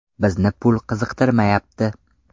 Bizni pul qiziqtirmayapti.